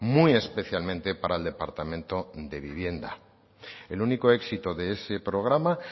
muy especialmente para el departamento de vivienda el único éxito de ese programa